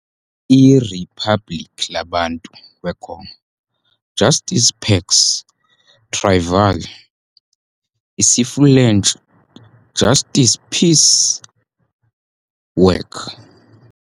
iRiphabliki Labantu weKongo- "Justice - Paix - Travail", isiFulentshi, Justice, Peace, Work,